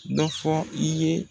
Dɔ fɔ i ye